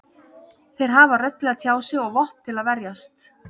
Þeir hafa rödd til að tjá sig og vopn til að verjast.